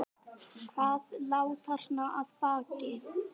Hvað lá þarna að baki?